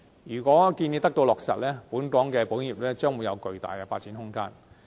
如果建議得到落實，本港的保險業將會有巨大的發展空間。